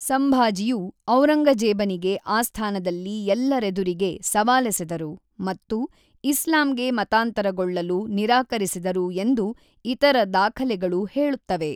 ಸಂಭಾಜಿಯು ಔರಂಗಜೇಬನಿಗೆ ಆಸ್ಥಾನದಲ್ಲಿ ಎಲ್ಲರೆದುರಿಗೆ ಸವಾಲೆಸೆದರು ಮತ್ತು ಇಸ್ಲಾಂಗೆ ಮತಾಂತರಗೊಳ್ಳಲು ನಿರಾಕರಿಸಿದರು ಎಂದು ಇತರ ದಾಖಲೆಗಳು ಹೇಳುತ್ತವೆ.